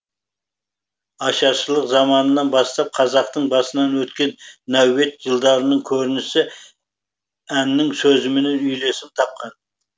ашаршылық заманнан бастап қазақтың басынан өткен нәубет жылдардың көрінісі әннің сөзімен үйлесім тапқан